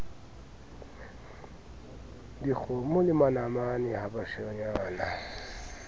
dikgomo le manamane ha bashanyana